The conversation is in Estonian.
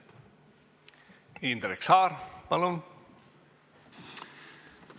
Indrek Saar, palun!